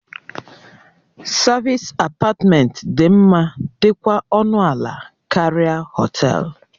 Savịs apatmentị dị mma dikwa ọnụ ala karịa họtelu.